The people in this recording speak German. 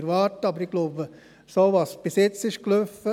Aber ich glaube, was bisher gelaufen ist, ist bisher gut gekommen.